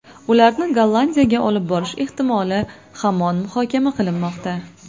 Ularni Gollandiyaga olib borish ehtimoli hamon muhokama qilinmoqda.